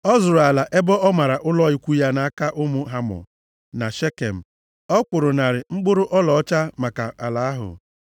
Ọ zụrụ ala ebe o mara ụlọ ikwu ya nʼaka ụmụ Hamọ, nna Shekem, ọ kwụrụ narị mkpụrụ ọlaọcha maka ala ahụ.